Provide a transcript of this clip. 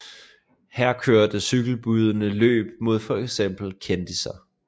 Her kørte cykelbudene løb mod fx kendisser